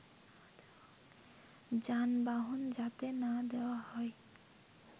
যানবাহন যাতে না দেওয়া হয়